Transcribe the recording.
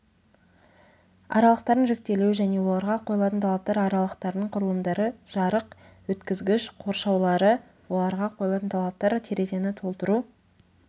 аралықтардың жіктелуі және оларға қойылатын талаптар аралықтардың құрылымдары жарық өткізгіш қоршаулары оларға қойылатын талаптар терезені толтыру